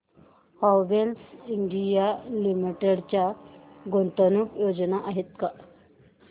Havells India limited च्या गुंतवणूक योजना आहेत का